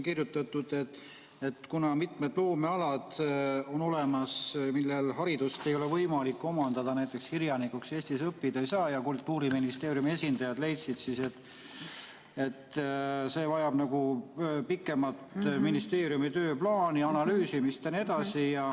Kuna on olemas mitmed loomealad, millel haridust ei ole võimalik omandada, näiteks kirjanikuks Eestis õppida ei saa, siis Kultuuriministeeriumi esindajad leidsid, et see vajab pikemat ministeeriumi tööplaani, analüüsimist jne.